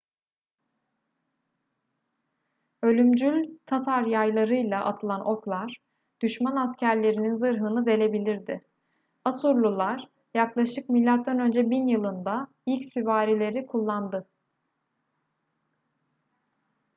ölümcül tatar yaylarıyla atılan oklar düşman askerlerinin zırhını delebilirdi asurlular yaklaşık mö 1000 yılında ilk süvarileri kullandı